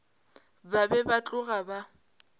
ba be ba tloga ba